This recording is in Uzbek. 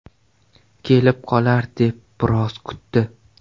Kelib qolar deb biroz kutdi.